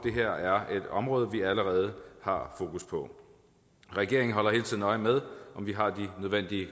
et område vi allerede har fokus på regeringen holder hele tiden øje med om vi har de nødvendige